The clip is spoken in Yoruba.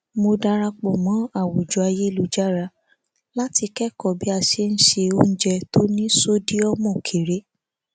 mo darapọ mọ àwùjọ ayélujára láti kékọọ bí a ṣe ń ṣe oúnjẹ tó ní sódíọmù kéré